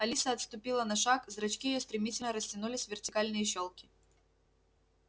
алиса отступила на шаг зрачки её стремительно растянулись в вертикальные щёлки